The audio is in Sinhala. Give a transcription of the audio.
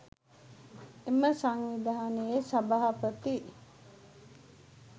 එම සංවිධානයේ සභාපති